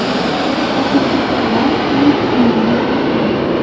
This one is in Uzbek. Oxirgi turlar eng qiyinlari bo‘ladi.